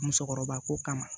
Musokɔrɔba ko kama